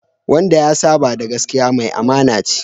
Wanda ya saba da gaskiya, mai amana ce